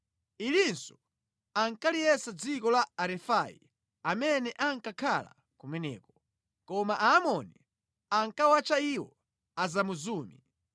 (Ilinso ankaliyesa dziko la Arefai amene ankakhala kumeneko. Koma Aamoni ankawatcha iwo Azamuzumi.